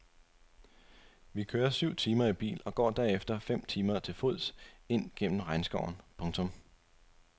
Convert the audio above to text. Vi kører syv timer i bil og går derefter fem timer til fods ind gennem regnskoven. punktum